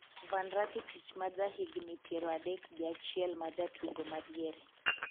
Van Rakitic ma ja higni piero adek gi achiel maja tugo madiere